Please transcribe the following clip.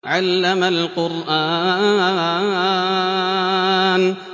عَلَّمَ الْقُرْآنَ